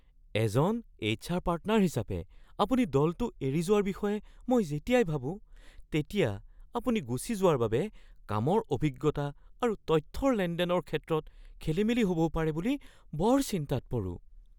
এজন HR partner হিচাপে, আপুনি দলটো এৰি যোৱাৰ বিষয়ে মই যেতিয়াই ভাবো তেতিয়া আপুনি গুচি যোৱাৰ বাবে কামৰ অভিজ্ঞতা আৰু তথ্যৰ লেনদেনৰ ক্ষেত্ৰত খেলিমেলি হ’বও পাৰে বুলি বৰ চিন্তাত পৰোঁ।